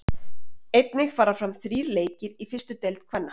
Einnig fara fram þrír leikir í fyrstu deild kvenna.